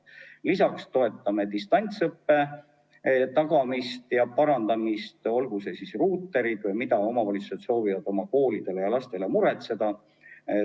Lisaks toetame distantsõppe tagamist ja parandamist, olgu ruuterid või ükskõik mis, mida omavalitsused soovivad oma lastele ja koolidele muretseda.